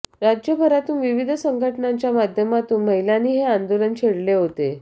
राज्यभरातून विविध संघटनांच्या माध्यमातून महिलांनी हे आंदोलन छेडले होते